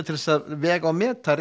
til að vega og meta